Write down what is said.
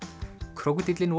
krókódíllinn